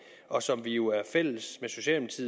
og som vi jo er fælles